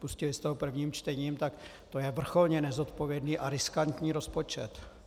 Pustili jste ho prvním čtením a to je vrcholně nezodpovědný a riskantní rozpočet.